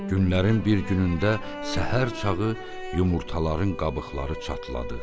Günlərin bir günündə səhər çağı yumurtaların qabıqları çatladı.